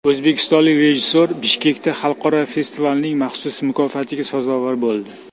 O‘zbekistonlik rejissyor Bishkekdagi xalqaro festivalning maxsus mukofotiga sazovor bo‘ldi.